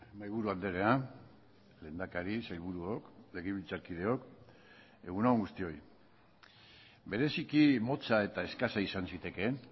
mahaiburu andrea lehendakari sailburuok legebiltzarkideok egun on guztioi bereziki motza eta eskasa izan zitekeen